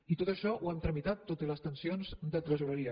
i tot això ho hem tramitat tot i les tensions de tresoreria